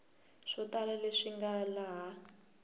swo tala leswi nga laha